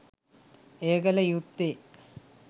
එය කළ යුත්තේ